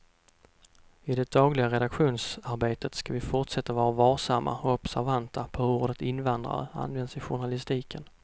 I det dagliga redaktionsarbetet ska vi fortsätta att vara varsamma och observanta på hur ordet invandrare används i journalistiken.